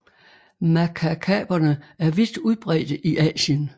Makakaberne er vidt udbredte i Asien